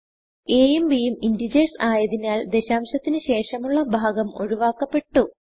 A യും b യും integersആയതിനാൽ ദശാംശത്തിന് ശേഷമുള്ള ഭാഗം ഒഴുവാക്കപ്പെട്ടു